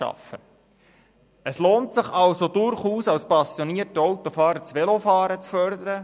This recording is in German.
Auch für einen passionierten Autofahrer lohnt es sich also durchaus, das Velofahren zu fördern.